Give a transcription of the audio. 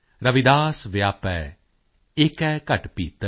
ਰਵਿਦਾਸ ਵਿਆਪੈ ਏਕੈ ਘਟ ਭੀਤਰ